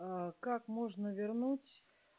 аа как можно вернуть